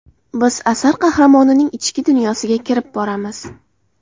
Biz asar qahramonining ichki dunyosiga kirib boramiz.